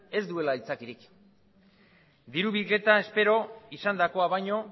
ez duela aitzakiarik diru bilketa espero izandakoa baino